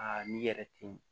Aa n'i yɛrɛ te yen